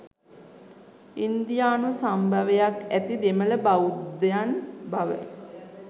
ඉන්දියානු සම්භවයක් ඇති දෙමළ බෞද්ධයන් බව